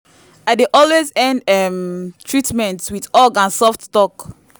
i dey always end um treatment with hug and soft talk.